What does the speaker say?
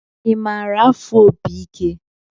I maara afụ opi ike?